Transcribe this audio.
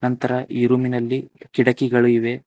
ಅಂತ್ರ ಈ ರೂಮ್ ಇನಲ್ಲಿ ಕಿಟಕಿಗಳಿವೆ.